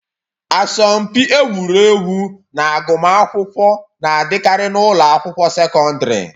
Asọmpi egwuregwu na agụmakwụkwọ na-adịkarị n'ụlọ akwụkwọ sekọndrị.